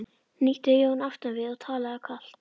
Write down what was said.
hnýtti Jón aftan við og talaði kalt.